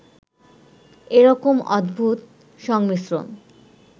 এরকম অদ্ভুত সংমিশ্রণ